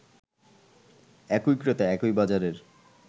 একই ক্রেতা একই বাজারের